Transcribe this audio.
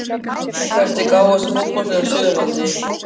Hvert er gáfaðasta fótboltaliðið á Suðurlandi?